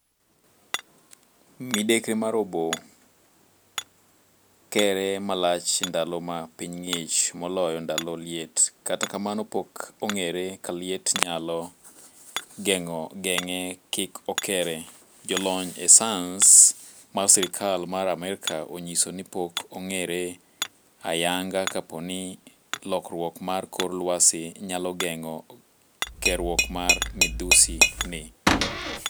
Midekre mar oboo kere malach ndalo ma piny ng'ich moloyo ndalo liet, kata kamano pok ong'ere ka liet nyalo geng'e kik okere. Jolony e sayans mar sirkal mar Amerka onyiso ni pok ong'ere ayanga kapo ni lokruok mar kor lwasi nyalo geng'o keruok mar midhusi ni.